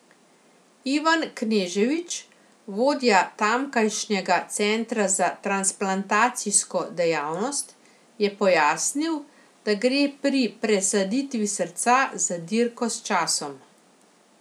Ivan Kneževič, vodja tamkajšnjega centra za transplantacijsko dejavnost, je pojasnil, da gre pri presaditvi srca za dirko s časom.